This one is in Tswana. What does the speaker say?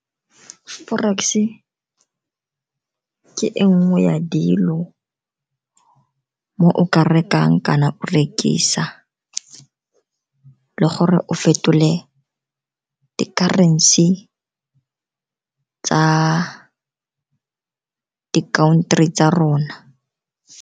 Forex e ke e nngwe ya dilo mo o ka rekang kana rekisa le gore o fetole di-currency tsa di-country tsa rona.